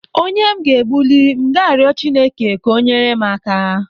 Onye m ga-egbuli m ga rio Chineke ka o nyere m aka.